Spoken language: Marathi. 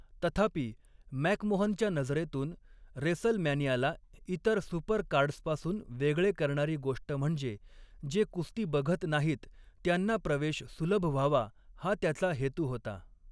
तथापि, मॅकमोहनच्या नजरेतून रेसलमॅनियाला इतर सुपरकार्ड्सपासून वेगळे करणारी गोष्ट म्हणजे, जे कुस्ती बघत नाहीत त्यांना प्रवेश सुलभ व्हावा हा त्याचा हेतू होता.